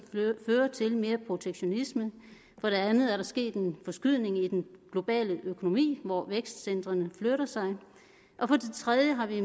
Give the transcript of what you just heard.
fører til mere protektionisme for det andet er der sket en forskydning i den globale økonomi hvor vækstcentrene flytter sig og for det tredje har vi